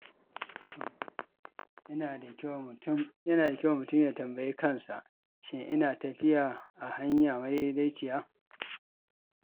Yana da kyau mutum ya tambayi kansa: Shin ina tafiya a hanya madaidaiciya?